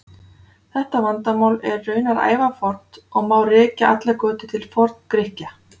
Þetta vandamál er raunar ævafornt og má rekja allar götur til Forngrikkja.